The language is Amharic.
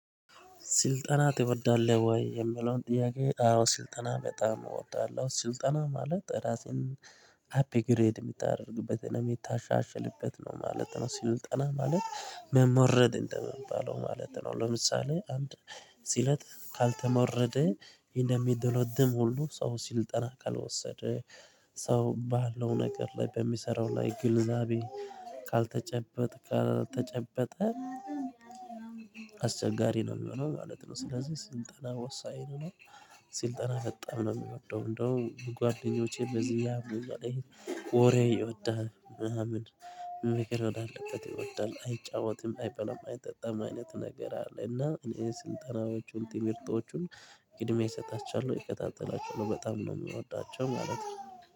ስልጠና ትወዳለህ ወይ? የምለውን ጥያቄ አዎ ስልጠና በጣም እወዳለሁ ስልጠና ማለት ራሴን ሀፒ ግሬድ የምታደርግበት የሚታሻሽልበት ነው ማለት ነው። ሲሉ ጠና ማለት መመረድ እንደምንባለው ማለት ነው። ለምሳሌ አንድ ሲለጥ ካልተመወረደ እንደሚደለድም ሁሉ ሰው ሲል ጠና ካልወሰደ ሰው ባለው ነገር ላይ በሚሰራው ላይ ግልዛቤ ካልተጨበጥ ካልተጨበጠ አስቸጋሪ ነው የሚሆነው ማለት ነው። ስለዚህ ስልጠና ወሳኝ ነው። ስልጠና በጣም ነው የሚወደው እንደው ጓደኞቼ በዚህ ያምኛል ይሄ ወሬ ይወዳል ምናምን ምክር ወደ አለበት ይወዳል አይጫወትም አይበላም አይጠጣም አይነት ነገር አለ። እና እኔ ስልጠናዎቹን ትሚርቶቹን ቅድሜ እሰጣቸዋለሁ እከታተላቸው በጣም ነው የምወዳቸው ማለት ነው